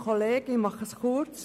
Ich mache es kurz.